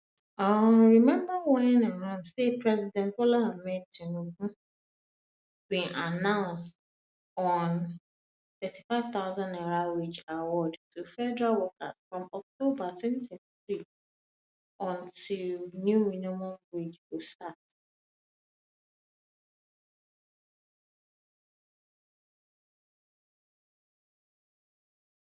um remember um say president bola tinubu bin announce a n35000 wage award to federal workers from october 2023 until 2023 until new minimum wage go start